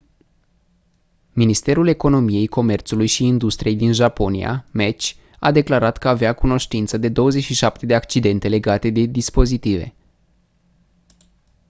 ministerul economiei comerțului și industriei din japonia meci a declarat că avea cunoștință de 27 de accidente legate de dispozitive